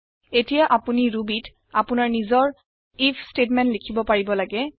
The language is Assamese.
এতিয়া আপোনি Rubyত আপোনাৰ নিজৰ আইএফ ষ্টেটমেণ্ট লিখিব পাৰিব লাগে